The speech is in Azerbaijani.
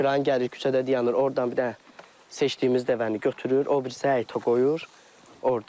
Kran gəlir küçədə dayanır, ordan bir dənə seçdiyimiz dəvəni götürür, o birisi həyətə qoyur orda.